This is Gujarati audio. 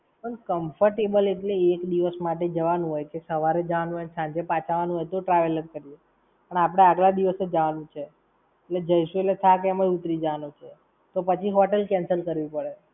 પણ comfortable એટલે એક દિવસ માટે જવાનું હોય કે, સવારે જવાનું હોય ને સાંજે પાછા આવાનું હોય તો traveller કરીયે. પણ આપણે આગલા દિવસે જવાનું છે. એટલે જઈશું એટલે થાક એમ જ ઉતરી જવાનો છે. તો પછી hotel cancel કરવી પડે.